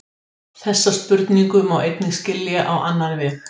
Mattea, hvað er í matinn?